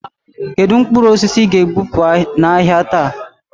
Kedụ mkpụrụ osisi ị ga e bupu n'ahia taa?